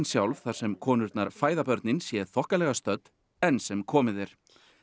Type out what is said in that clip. sjálf þar sem konurnar fæða sé þokkalega stödd enn sem komið er